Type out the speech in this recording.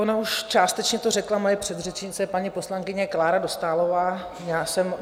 Ona už částečně to řekla moje předřečnice, paní poslankyně Klára Dostálová.